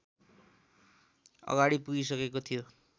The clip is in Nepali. अगाडि पुगिसकेको थियो